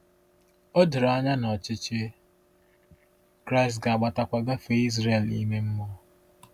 O doro anya na ọchịchị Kraịst ga-agbatakwa gafee Izrel ime mmụọ.